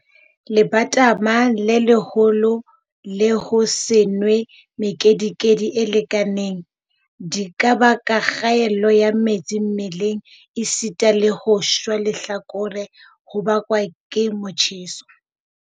Lebatama le leholo le ho se nwe mekedikedi e lekaneng, di ka baka kgaello ya metsi mmeleng esita le ho shwa lehlakore ho bakwang ke motjheso.